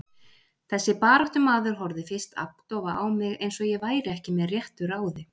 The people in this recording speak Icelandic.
Þessi baráttumaður horfði fyrst agndofa á mig, eins og ég væri ekki með réttu ráði.